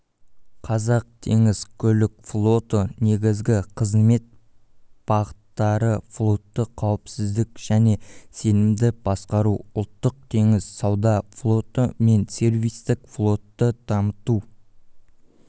қазақтеңізкөлікфлоты негізгі қызмет бағыттарыфлотты қауіпсіз және сенімді басқару ұлттық теңіз сауда флоты мен сервистік флотты дамыту